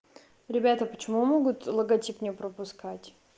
ребята почему могут логотип не пропускать